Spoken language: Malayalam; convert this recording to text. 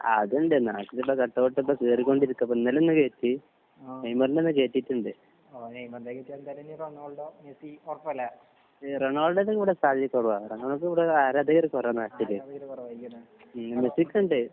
അത് ഉണ്ട് നാട്ടില് ഇപ്പൊ കട്ട്‌ഔട്ട്‌ ഒക്കെ കേറികൊണ്ടിരിക്കാ. ഇപ്പൊ ഇന്നലെ ഒന്ന് കേറ്റി. നെയ്മർന്റെ ഒന്ന് കേറ്റീട്ടുണ്ട്. റൊണാൾഡോ ന്റെ ഇവിടെ സാധ്യത കുറവാ. റൊണാൾഡോക്ക് ഇവിടെ ആരാധകർ കുറവാണ് നാട്ടില്. ഹ്മ് മെസ്സിക്ക് ഉണ്ട്.